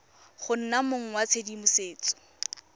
go nna mong wa tshedimosetso